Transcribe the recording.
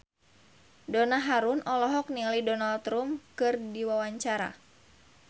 Donna Harun olohok ningali Donald Trump keur diwawancara